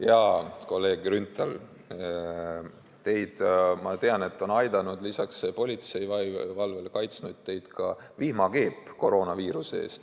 Jaa, kolleeg Grünthal, ma tean, et teid on aidanud lisaks politseivalvele kaitsta ka vihmakeep koroonaviiruse eest.